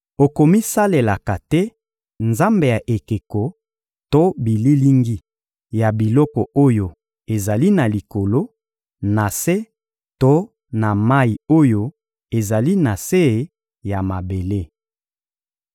Okomisalelaka te nzambe ya ekeko to bililingi ya biloko oyo ezali na likolo, na se to na mayi oyo ezali na se ya mabele.